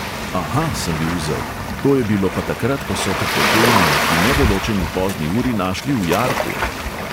Aha, sem bil zel, "to je bilo pa takrat, ko so te potem v neki nedoločeni pozni uri našli v jarku."